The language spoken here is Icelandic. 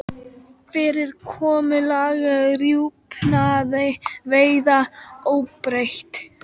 Fyrirkomulag rjúpnaveiða óbreytt